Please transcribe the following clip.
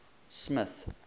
smith